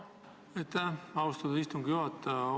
Aitäh, austatud istungi juhataja!